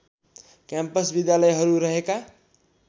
campus विद्यालयहरू रहेका